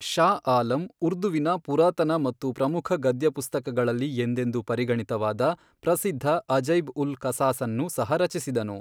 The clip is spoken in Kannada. ಷಾ ಆಲಮ್ ಉರ್ದುವಿನ ಪುರಾತನ ಮತ್ತು ಪ್ರಮುಖ ಗದ್ಯ ಪುಸ್ತಕಗಳಲ್ಲಿ ಎಂದೆಂದು ಪರಿಗಣಿತವಾದ ಪ್ರಸಿದ್ಧ ಅಜೈಬ್ ಉಲ್ ಕಸಾಸನ್ನು ಸಹ ರಚಿಸಿದನು.